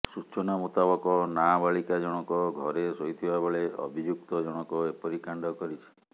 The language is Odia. ସୂଚନା ମୁତାବକ ନାବାଳିକା ଜଣକ ଘରେ ଶୋଇଥିବା ବେଳେ ଅଭିଯୁକ୍ତ ଜଣକ ଏପରି କାଣ୍ଡ କରିଛି